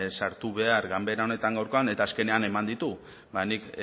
sartu behar ganbara honetan gaurkoan eta azkenean eman ditu ba nik